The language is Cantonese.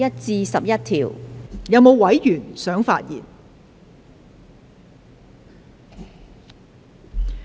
是否有委員想發言？